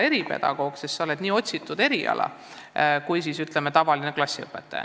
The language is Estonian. Eripedagoog on ju uhke olla, see on otsitum eriala kui näiteks tavaline klassiõpetaja.